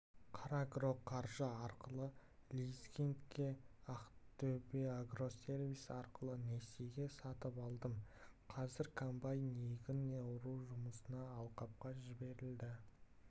қарагроқаржы арқылы лизингке ақтөбеагросервис арқылы несиеге сатып алдым қазір комбайн егін ору жұмысына алқапқа жіберілді